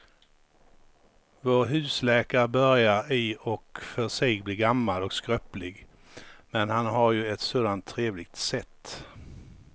Vår husläkare börjar i och för sig bli gammal och skröplig, men han har ju ett sådant trevligt sätt!